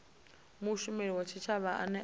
mushumeli wa tshitshavha ane a